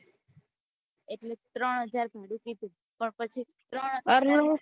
એટલે ત્રણ હજાર સુધી કીધું